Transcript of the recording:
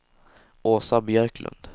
Åsa Björklund